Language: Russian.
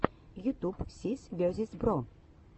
ютюб сис весиз бро